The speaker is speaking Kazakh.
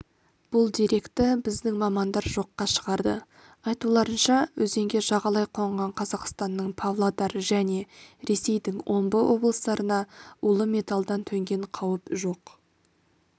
бұл деректі біздің мамандар жоққа шығарды айтуларынша өзенге жағалай қонған қазақстанның павлодар және ресейдің омбы облыстарына улы металдан төнген қауіп жоқ